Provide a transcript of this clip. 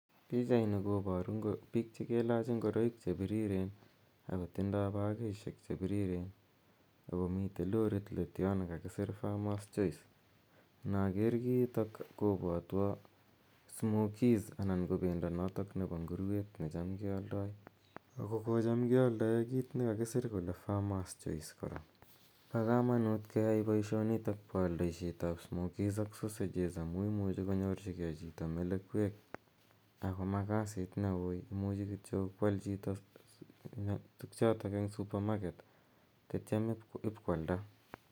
Pichaini koparu piik che kelaach ngoroik che pirireen ako tindai pakishek che pirirren ako mitei lorit let yo ne kakisir famer's choice. Inakeer kiitok kopwatwa smokies anan ko pendo notok nepo ngurweet ne cham ke aldai, ago ko cham ke aldaei kiit nekakisir kele famrmer's choice kora. Pa kamanuut keyai poishonitok pa aldaisiet ap smokies ak sosejes amu imuchi konyorchigei chito melekwek ao ma kasiit ne ui , imuchi kityo koal chito tugchotok eng' supermarket tetiam ipkoalda.